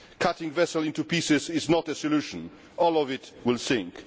Cutting the vessel into pieces is not a solution all of it will sink.